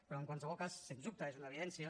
però en qualsevol cas sens dubte és una evidència